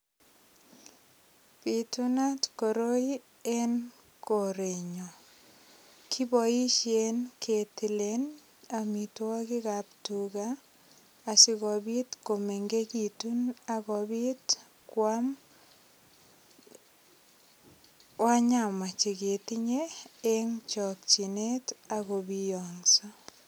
Bitunat koroi en korenyu kiboishen ketilen amitwokik ap tuga asikobit komengekitun akobit koam wanyama cheketinye eng chokchinet ak kobiongso.